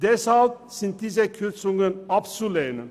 Deshalb sind diese Kürzungen abzulehnen.